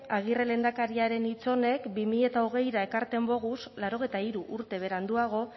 agirre lehendakariaren hitz honek bi mila hogeira ekartzen boguz laurogeita hiru urte beranduago